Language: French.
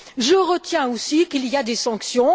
Je retiens aussi qu'il y a des sanctions.